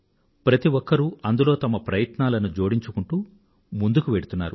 ప్రతి ఒక్కరూ అందులో వారి ప్రయత్నాలను జోడించుకుంటూ ముందుకువెళ్తున్నారు